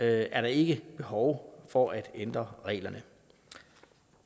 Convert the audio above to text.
er der ikke behov for at ændre reglerne